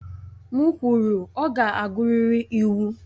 M kwuru, ọ ga-agụrịrị iwu!